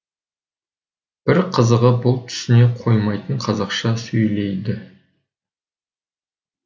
бір қызығы бұл түсіне қоймайтын қазақша сөйлейді